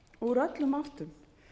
úr öllum áttum